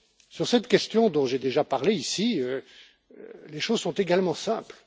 Sur cette question, dont j'ai déjà parlée ici, les choses sont également simples.